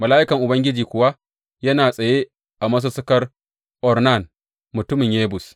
Mala’ikan Ubangiji kuwa yana tsaye a masussukar Ornan mutumin Yebus.